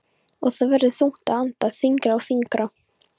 Og það verður þungt að anda, þyngra og þyngra.